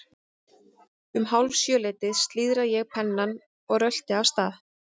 Um hálf sjö leytið slíðra ég pennann og rölti af stað.